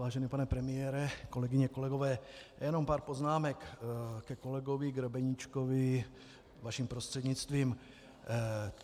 Vážený pane premiére, kolegyně, kolegové, jenom pár poznámek ke kolegovi Grebeníčkovi, vaším prostřednictvím.